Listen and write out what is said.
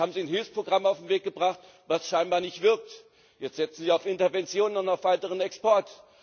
Jetzt haben Sie ein Hilfsprogramm auf den Weg gebracht, was scheinbar nicht wirkt. Jetzt setzen Sie auf Intervention und auf weiteren Export.